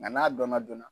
Nka n'a dɔnna joona